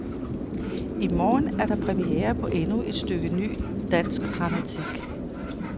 I morgen er der premiere på endnu et stykke ny, dansk dramatik.